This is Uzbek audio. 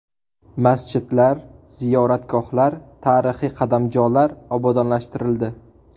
Masjidlar, ziyoratgohlar, tarixiy qadamjolar obodonlashtirildi.